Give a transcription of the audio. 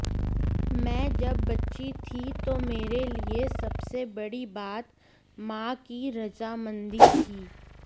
मैं जब बच्ची थी तो मेरे लिए सबसे बड़ी बात मां की रजामंदी थी